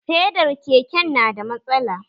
Fedar keken na da matsala